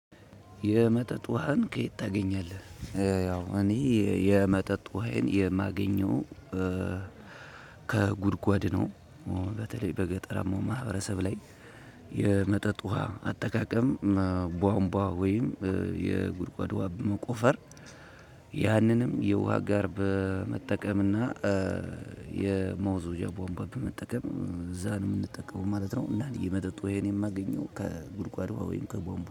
የመጠጥ ውሃን ከየት ታገኛለህ? ያው እኔ የመጠጥ ውሀየን የማገኘው ከጉድጓድ ነው። በተለይ በገጠራማው ማህበረሰብ ላይ። የመጠጥ ውሃ አጠቃቀም ቧንቧ ወይም የጉድጓድ ውሃ በመቆፈር ያንንም የውሃ አጋር በመጠቀም እና የመወዝወዣ ቧንባ በመጠቀም እዛ ነው የምንጠቀመው ማለት ነው። እና የመጠጥ ውሀየን የማገኘው ከጉድጓድ ወይም ከቧንቧ